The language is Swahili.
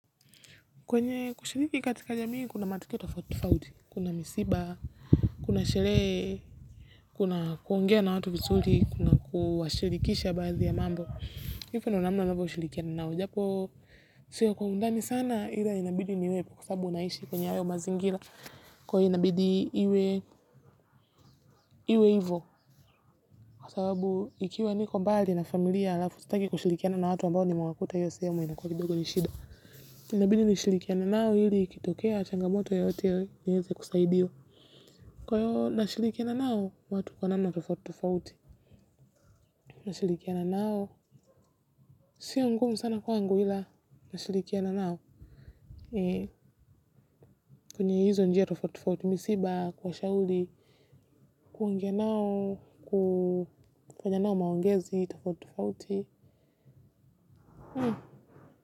Kwenye kushirki katika jamii kuna matokeo tofauti tofauti, kuna misiba, kuna sherehe, kuna kuongea na watu vizuri, kuna kuwashilikisha baathi ya mambo. Hivo ndio namna unavyo shilikiana nao. Japo, siyo kwa undani sana ila inabidi niwepo kwa sababu naishi kwenye hayo mazingira kwahio inabidi iwe hivo. Kwa sababu ikiwa niko mbali na familia alafu, sitaki kushilikiana na watu ambao ni mewakuta hiyo sehemu inakua kidogo ni shida. Nabidi ni shilikiane nao hili kitokea changamoto yoyote nieze kusaidiwa. Kwa hiyo na shilikiana nao watu kwa nama tofauti tofauti. Na shilikiana nao sio ngumu sana kwangu ila na shilikiana nao. Kwenye hizo njia tofauti tofauti misiba kuwa shauli. Kuongeanao kufanya nao maongezi tofauti tofauti.